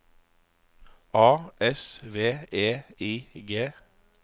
A S V E I G